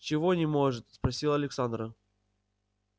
чего не может спросила александра